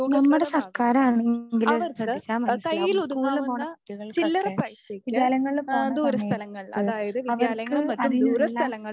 നമ്മടെ സർക്കാരാണെങ്കില് ശ്രദ്ധിച്ചാ മനസ്സിലാവും സ്കൂളില് പോണ കുട്ടികൾക്കൊക്കെ വിദ്യാലയങ്ങളിൽ പോണ സമയത്ത് അവർക്ക് അതിനുള്ള